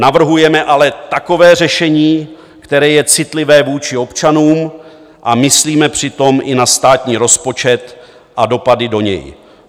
Navrhujeme ale takové řešení, které je citlivé vůči občanům, a myslíme přitom i na státní rozpočet a dopady do něj.